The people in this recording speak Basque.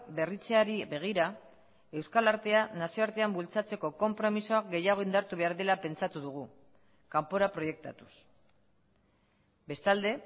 berritzeari begira euskal artea nazioartean bultzatzeko konpromisoa gehiago indartu behar dela pentsatu dugu kanpora proiektatuz bestalde